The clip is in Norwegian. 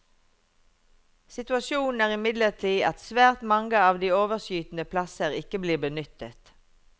Situasjonen er imidlertid at svært mange av de overskytende plasser ikke blir benyttet.